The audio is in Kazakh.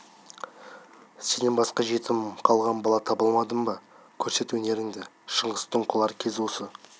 сенен басқа жетім қалған бала таба алмадым ба көрсет өнеріңді шыңғыстың құлар кезі осы